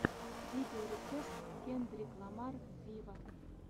видеорецепт кендрик ламар виво